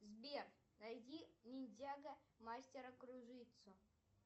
сбер найди ниндзяго мастера кружитцу